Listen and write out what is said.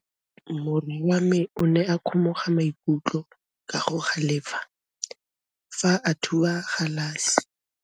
Morwa wa me o ne a kgomoga maikutlo ka go galefa fa a thuba galase.